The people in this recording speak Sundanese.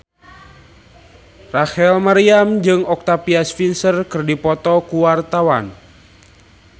Rachel Maryam jeung Octavia Spencer keur dipoto ku wartawan